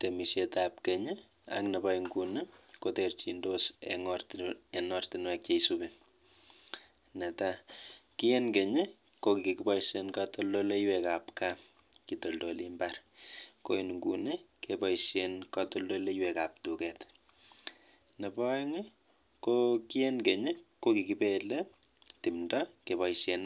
Temeshet ab Keny ak Nebo Nguni kotinye terjinoshek cheisubi, eng Keny keboishe katoldolik ab kaa ko Nguni keboishe katoldolik ab [duket] eng Keny kikibelei tumdo ak